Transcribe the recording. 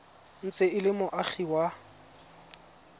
ntse e le moagi wa